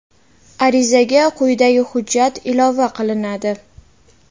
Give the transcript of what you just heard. Arizaga quyidagi hujjat ilova qilinadi:.